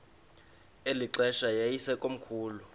eli xesha yayisekomkhulu